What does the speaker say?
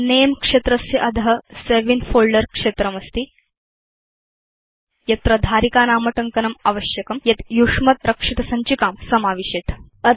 Nameक्षेत्रस्य अध save in folder क्षेत्रमस्ति यत्र धारिकानामटङ्कनम् आवश्यकं यद्यूष्मद्रक्षितसञ्चिकां समाविशेत्